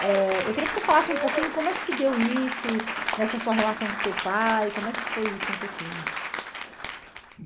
eh eu queria que você falasse um pouquinho como é que se deu isso nessa sua relação com seu pai, como é que foi isso um pouquinho?